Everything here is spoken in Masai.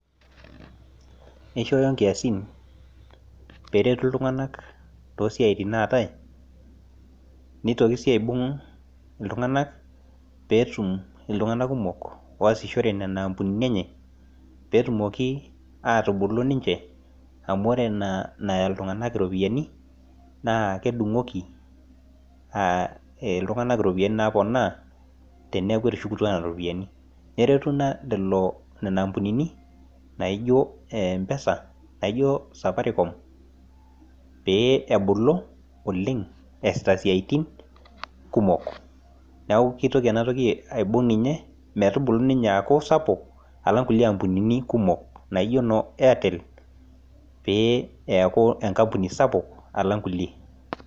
kishoyo inkiasin pee eretu iltung'anak too siaitin naatae nitoki sii aibung iltung'anak pee etum iltung'anak kumok oosishore, nena ampunini enye pee etumoki atubulu niche, amu ore ina naya iltung'anak iropiyiani naa kidung'oki iltung'anak iropiyiani naaponaa teneeku etushukutuo nena ropiyiani neretu ina nena ampunini naijo empesa, naijio Safaricom pee ebulu oleng' eesita isiaitin kumok neeeku kitoki enatoki aibung ninye metubulu aaku sapuk, alang inkulie ampunini kumok naijo noo artel pee eku enkampuni sapuk alang inkulie.